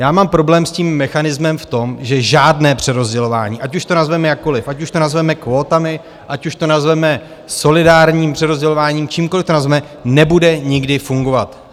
Já mám problém s tím mechanismem v tom, že žádné přerozdělování, ať už to nazveme jakkoliv, ať už to nazveme kvótami, ať už to nazveme solidárním přerozdělováním, čímkoliv to nazveme, nebude nikdy fungovat.